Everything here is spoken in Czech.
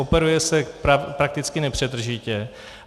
Operuje se prakticky nepřetržitě.